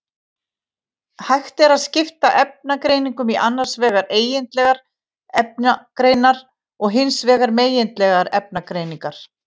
Hægt er að skipta efnagreiningum í annars vegar eigindlegar efnagreiningar og hins vegar megindlegar efnagreiningar.